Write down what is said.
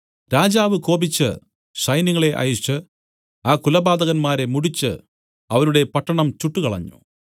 രാജാവ് കോപിച്ചു സൈന്യങ്ങളെ അയച്ച് ആ കുലപാതകന്മാരെ മുടിച്ചു അവരുടെ പട്ടണം ചുട്ടുകളഞ്ഞു